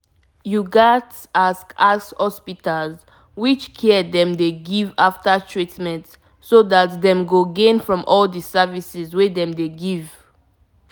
as country people dey always take care of sick people dey make the patient trust them well gain from health help.